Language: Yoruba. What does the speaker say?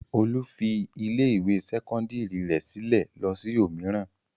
Olú fi ilé-ìwé sẹ́kọ́ndárì rẹ̀ sílẹ̀ lọ sí òmíràn.